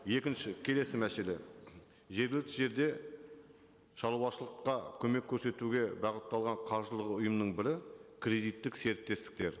екінші келесі мәселе жергілікті жерде шаруашылыққа көмек көрсетуге бағытталған қаржылық ұйымның бірі кредиттік серіктестіктер